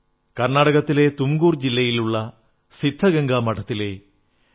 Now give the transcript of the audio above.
കർണ്ണാടകത്തിലെ തുംകൂർ ജില്ലയിലുള്ള സിദ്ധഗംഗാ മഠത്തിലെ ഡോ